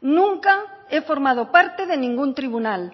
nunca he formado parte de ningún tribunal